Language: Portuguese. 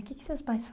O que que seus pais